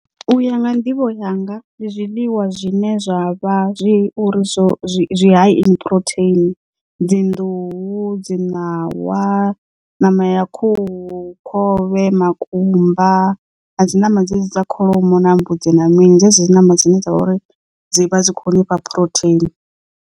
U ya nga nḓivho yanga ndi zwiḽiwa zwine zwa vha zwi uri zwo zwi high in protein dzi nḓuhu, dzi ṋawa, nama ha khuhu, khovhe, makumba nadzi ṋama dzedzi dza kholomo na mbudzi na mini dzedzi dzi ṋama dzine dza vha uri dzi vha dzi khou nifha phurotheini.